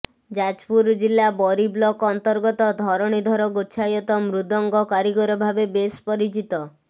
ଯାଜପୁର ଜିଲ୍ଲା ବରୀ ବ୍ଲକ୍ ଅନ୍ତର୍ଗତ ଧରଣୀଧର ଗୋଚ୍ଛାୟତ ମୃଦଙ୍ଗ କାରିଗର ଭାବେ ବେଶ୍ ପରିିଚିତ